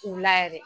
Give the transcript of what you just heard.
K'u la yɛrɛ